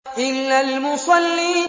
إِلَّا الْمُصَلِّينَ